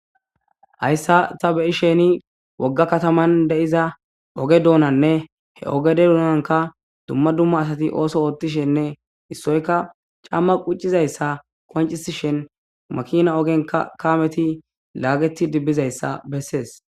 Hayssan ta be7ishin woga katanan diza oge donaninne he oggade doonan dumma dumma asati ooso oothishenne issoykka caamma quccizayssa qonccissishin makiina ogen kaameti lagetidi bizayssa bessess.